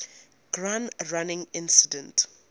gun running incident